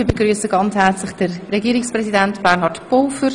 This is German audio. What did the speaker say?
Ich begrüsse dazu ganz herzlich Herrn Regierungspräsidenten Bernhard Pulver.